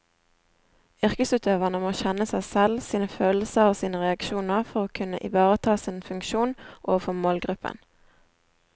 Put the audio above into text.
Yrkesutøverne må kjenne seg selv, sine følelser og sine reaksjoner for å kunne ivareta sin funksjon overfor målgruppen.